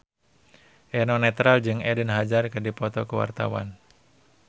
Eno Netral jeung Eden Hazard keur dipoto ku wartawan